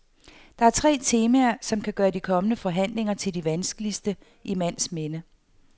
Der er tre temaer, der kan gøre de kommende forhandlinger til de vanskeligste i mands minde.